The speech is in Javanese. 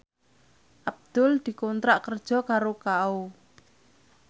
Abdul dikontrak kerja karo Kao